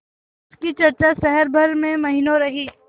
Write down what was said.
उसकी चर्चा शहर भर में महीनों रही